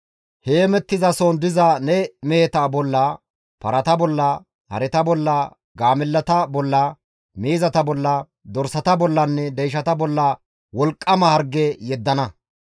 heemettizason diza ne meheta bolla, parata bolla, hareta bolla, gaamellata bolla, miizata bolla, dorsata bollanne deyshata bolla wolqqama harge yeddana.